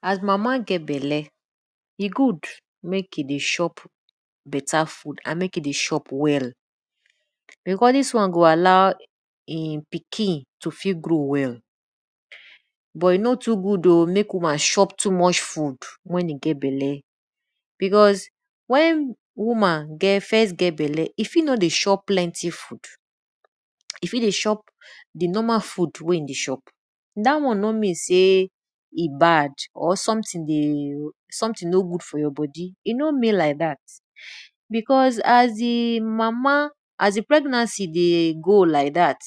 As mama get belle, e good mek e dey chop beta food and mek e dey chop well. Because di one go allow in pikin to fit grow well, but e no goo good o me woman chop too much food wen e get belle because wen woman first get bela, e fi no dey chop plenty food, e fit dey chop di normal food wey e dey chop, dat one no mean sey e bad or something no good for your bodi e no moean like dat because as di pregnancy dey grow like dat,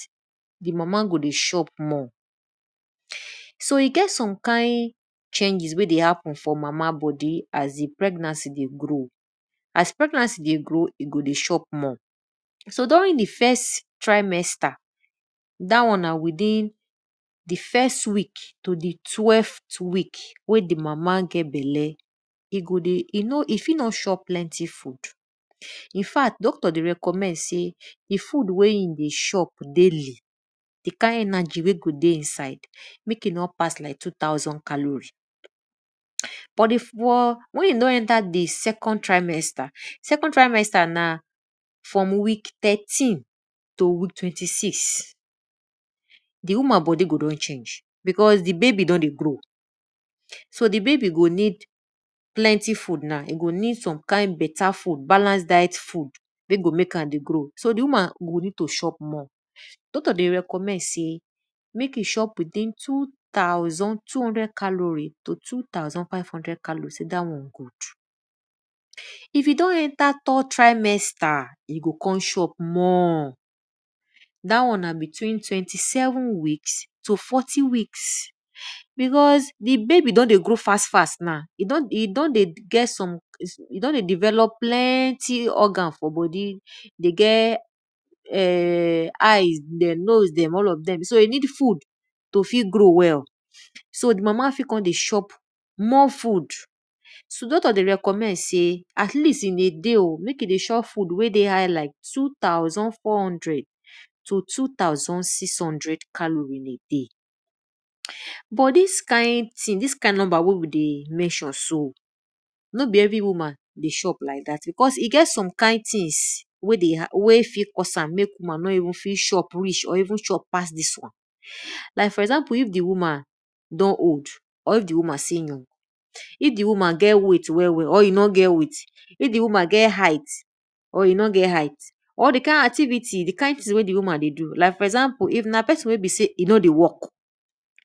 di mama go dey chop more. So e get some kind changes wey dey happen for mama bodi as dei pregnancy dey grow. As pregnancy dey grow, e go dey chop more. So during di first trimester, dat one na within di first week to di twelveth week wey di mama get belle, e go dey e no e fit nor chop plenty food, infat doctor dey recommend sey di food wey e dey chop daily, di kind energy wey go dey inside, mek e no pass like two-thousand caliries. But mek e no enter di second trimester. Second trimester na from week thirteen to week twenty-six di woman bodi go don change because di babi go don dey grow so di babi go need plenty food now e go need some kind beta food balance diet food wey go mek am dey grow. So di woman need to chop more. Doctor go recommend sey mek e chop between two-thousand two-hundred calori to two-thousand five-hundred calories sey dat one good. If don enter third trimester, e go kon show up more. Dat one nab tween twenty-seven weeks to forty-week because di babi don dey grow faster now because e don dey develop plenty organ for bodi dey get eye dem, nose dem all of dem so e need food to dey grow well so mama fit kon dey chop more food. So doctor dey recommend sey at least in a day oh, mek e dey chop food wey dey high like two thoudand four hundred to two-thousand six-hundred in a day. but dis kind thing, dis kind number wey we dey mention so, no be every woman dey chop like dat because e get some kind things mek woman no even chop reach or even chop pass dis one. Like for example if di woman don old or if di woman still young, if di woman get weight or e nor get weight, if di woman get height or e nor get height, all de kind activity di kind thing wey di woman dey do like for example if na pesin ey be sey e no dey work,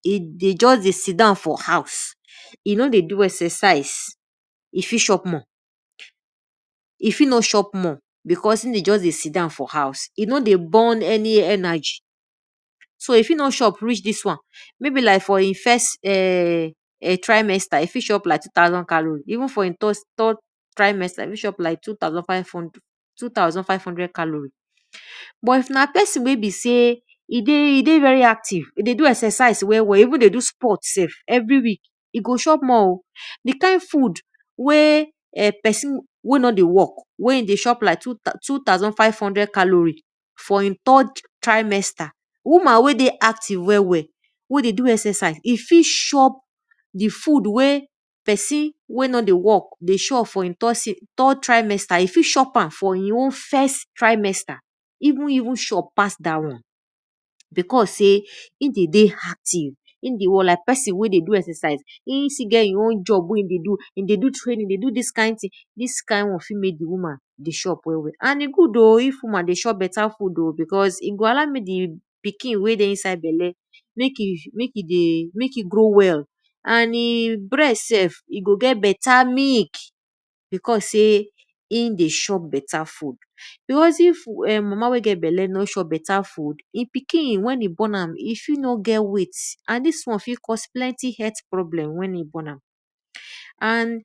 e just dey sit down for house, e fit nor chop more because e just dey sit down for house e no dey burn any energy. So e fit no chop reach dis wan maybe na for e first trimester maybe like[um]two thousand calories. Third trimester reach like two thousand five hundred calories. But if na pesin wey be sey dey do exercise dey even dey do sport sef every week, e go chop more oh. Di kind food wey pesin wey no dey work wey e dey chop like two thousand five hundred calories for e third trimester, woman wey dey active well well wey dey do exercise, e fit chop di food wey pesin wey no dey work dey chop for e trimester e fit chop am for e own trimester even fit chop pass dat won because sey e dey dey active e dey do exercise e still get e own job wey e dey fdo, e dey do training, e dey do dis kind thing this kind work fit mek di woman dey chop well well. And e good o if woman dey chop beta food o because e go allow mey di pikin wey dey inside bela mek e grow well and e breast sef e go get bata milk because sey e dey chop bet food. Beause if mama wey gt bela no chop beta food, e pikin wen e born am fit no get weight and dis one fit cause plenty health problem wen e born am. And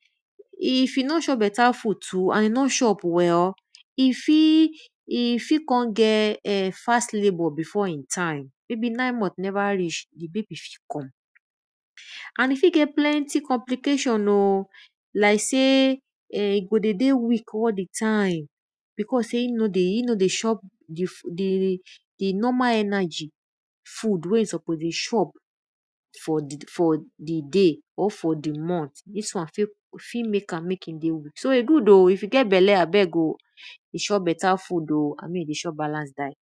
if e o chop beta food too and e no chop well, e fit kon get[um]fast labout before e time maybe nine month neva reach, di babay fit come. And e fit kon get planty complication oh like sey e go dey dey weak all di time because e no dey chop di normal energy food wey e suppose dey chop for di day or for di month dis one fit mek am mek e dey weak. So e good oh if you get bela, dey chop beta food abi dey chop balanced diet.